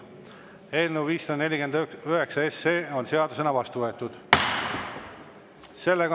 Eelnõu 549 on seadusena vastu võetud.